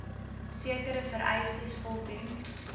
sekere vereistes voldoen